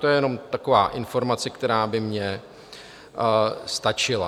To je jen taková informace, která by mi stačila.